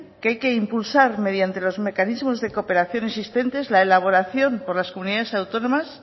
que hay que impulsar mediante los mecanismos de cooperación existentes la elaboración por la comunidades autónomas